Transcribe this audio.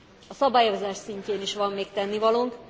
A szabályozás szintjén is van még tennivalónk.